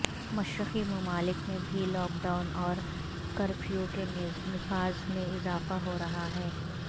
مشرقی ممالک میں بھی لاک ڈاون اور کرفیو کے نفاذ میں اضافہ ہو رہا ہے